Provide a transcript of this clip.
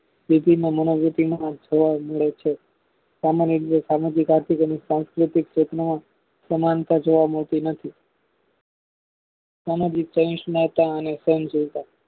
જોવા મળે છે સામાન્ય રીતે સામાજિક આર્થિક અને સાન્સકેટીક સમાનતા જોવા મળતી નથી સામાજિક અને જોતા